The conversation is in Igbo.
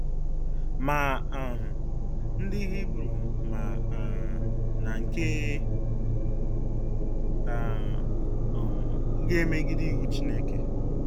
Ma um ndị Hibru ma um na nke a um ga-emegide iwu Chineke.